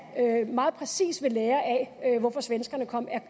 meget præcis ved lære af hvorfor svenskerne